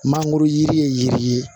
Mangoro yiri ye yiri ye